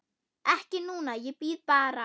Ekki núna, ég bíð bara.